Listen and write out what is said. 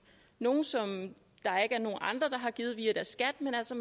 nogle penge som der ikke er nogen andre der har givet via deres skat men altså